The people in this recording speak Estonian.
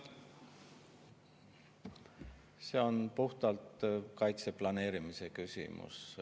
See on puhtalt kaitse planeerimise küsimus.